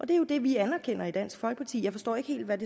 det er jo det vi anerkender i dansk folkeparti jeg forstår ikke helt hvad